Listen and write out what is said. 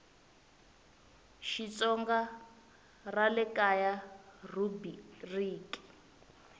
xitsonga ra le kaya rhubiriki